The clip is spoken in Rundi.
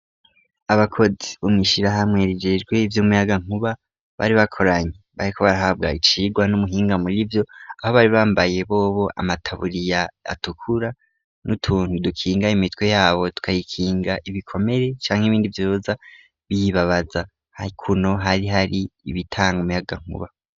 Abakozi bumwishira hamwerigerwe iby'umuyagankuba bari bakoranye bare ko barahabwa icigwa n'umuhinga muri byo aho bari bambaye bobo amataburiya atukura n'utuntu dukinga imitwe yabo tukayikinga ibikomere canke ibindi byoza biyibabaza haikuno hari hari ibitanga umuyagankuba.